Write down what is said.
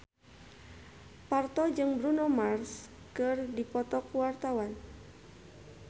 Parto jeung Bruno Mars keur dipoto ku wartawan